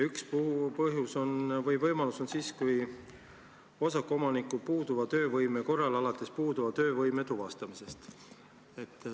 Üks põhjus või võimalus tekib siis, kui osaku omanikul tuvastatakse puuduv töövõime.